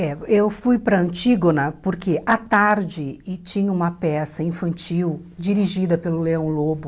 É, eu fui para Antígona porque à tarde e tinha uma peça infantil dirigida pelo Leão Lobo.